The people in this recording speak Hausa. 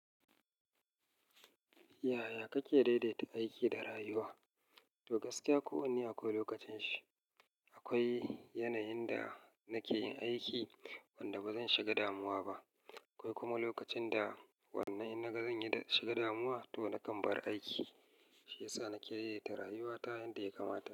Yaya kake daidaita aiki da rayuwa? To gaskiya ko wanne akwai lokacin shi. Akwai yanayin da nake yin aiki wanda bazan shiga damuwa ba. Akwai kuma lokacin da wannan in naga zan yi dan na shiga damuwa to na kan bar aiki, shi yasa na ke daidaita rayuwa ta yanda ya kamata.